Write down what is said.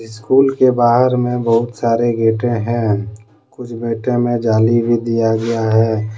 School के बाहर मे बहुत सारे गेटे हैं कुछ गेटे मे जाली भी दिया गया है।